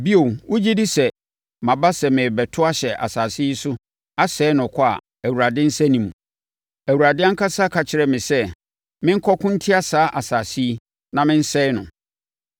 Bio, wogye di sɛ, maba sɛ merebɛto ahyɛ asase yi so asɛe no kwa a Awurade nsa nni mu? Awurade ankasa ka kyerɛɛ me sɛ, menkɔko ntia saa asase yi na mensɛe no.’ ”